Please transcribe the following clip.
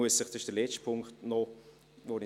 Das ist der letzte Punkt, den ich noch nenne: